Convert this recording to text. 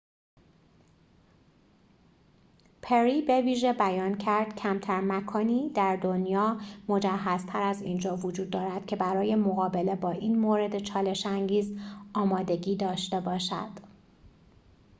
پری بویژه بیان کرد کمتر مکانی در دنیا مجهزتر از اینجا وجود دارد که برای مقابله با این مورد چالش‌انگیز آمادگی داشته باشد